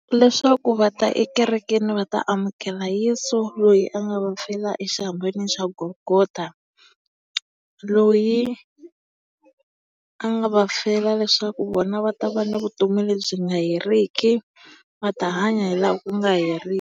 Leswaku va ta ekerekeni va ta amukela Yeso lweyi a nga va fela exihambanweni xa Golgotha. Loyi a nga va fela leswaku vona va ta va na vutomi lebyi nga heriki. Va ta hanya hi laha ku nga .